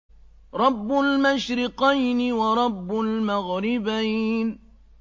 رَبُّ الْمَشْرِقَيْنِ وَرَبُّ الْمَغْرِبَيْنِ